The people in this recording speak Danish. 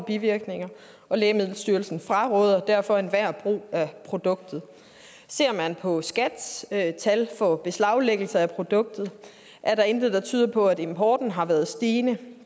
bivirkninger og lægemiddelstyrelsen fraråder derfor enhver brug af produktet ser man på skats tal tal for beslaglæggelse af produktet er der intet der tyder på at importen har været stigende